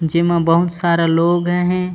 जेमा बहुत सारा लोग आहय।